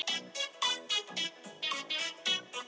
Valdimar sig í það og gáði á titilsíðuna.